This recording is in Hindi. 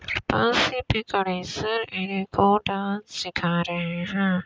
इनको डांस सीखा रहे है।